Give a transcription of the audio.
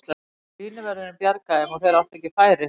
Línuvörðurinn bjargaði þeim og þeir áttu ekki færi.